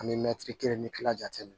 An bɛ mɛtiri kelen ni kelen jate minɛ